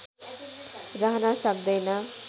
रहन सक्दैन